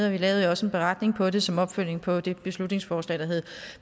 og vi lavede jo også en beretning på det som opfølgning på det beslutningsforslag der hed